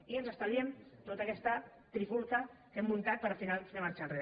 i ens estalviem tota aquesta trifulca que hem muntat per al final fer marxa enrere